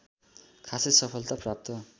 खासै सफलता प्राप्त